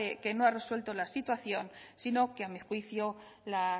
que no ha resuelto la situación sino que a mi juicio la ha